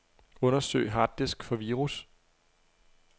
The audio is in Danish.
Undersøg harddisk for virus.